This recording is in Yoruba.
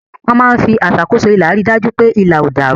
Wọ́n máa ń fi aṣàkóso ilà rí i dájú pé ilà ò dàrú.